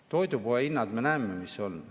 Toidupoe hinnad, me näeme, mis on.